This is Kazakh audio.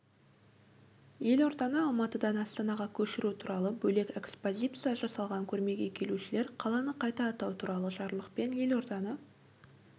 елорданы алматыдан астанаға көшіру туралы бөлек экспозиция жасалған көрмеге келушілер қаланы қайта атау туралы жарлықпен елорданы